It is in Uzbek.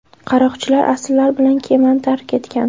Qaroqchilar asirlar bilan kemani tark etgan.